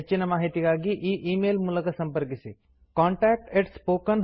ಹೆಚ್ಚಿನ ಮಾಹಿತಿಗಾಗಿ ಈ ಈ ಮೇಲ್ ಮೂಲಕ ಸಂಪರ್ಕಿಸಿ ಕಾಂಟಾಕ್ಟ್ spoken tutorialorg